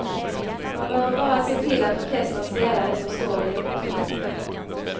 Man behöver bara se till att orkestern spelar det som står i noterna.